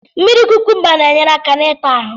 Mmiri kukumba na-ényéré áká n'ita ahu